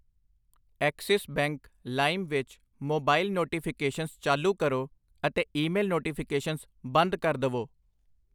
Axis Bank ਲਾਇਮ ਵਿੱਚ mobile notifications ਚਾਲੂ ਕਰੋ ਅਤੇ ਈ ਮੇਲ ਨੋਟੀਫਿਕੇਸ਼ਨ ਬੰਦ ਕਰ ਦਵੋ I